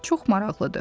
Çox maraqlıdır.